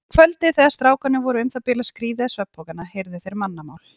Um kvöldið þegar strákarnir voru um það bil að skríða í svefnpokana heyrðu þeir mannamál.